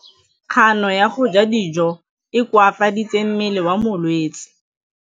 Kganô ya go ja dijo e koafaditse mmele wa molwetse.